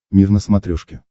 мир на смотрешке